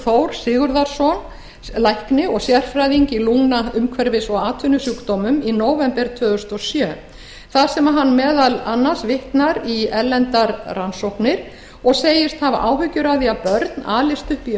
þór sigurðarson lækni og sérfræðing í lungna umhverfis og atvinnusjúkdómum í nóvember tvö þúsund og sjö þar sem hann vitnar meðal annars í erlendar rannsóknir og segist hafa áhyggjur af því að börn alist upp í